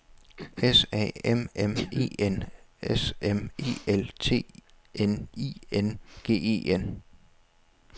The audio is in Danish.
S A M M E N S M E L T N I N G E N